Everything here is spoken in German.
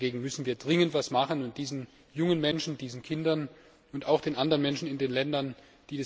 Dagegen müssen wir dringend etwas tun und diesen jungen Menschen, diesen Kindern, und auch den anderen Menschen in den Ländern helfen.